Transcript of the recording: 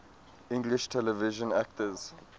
english television actors